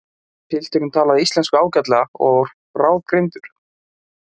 Pilturinn talaði íslensku ágætlega og var bráðgreindur.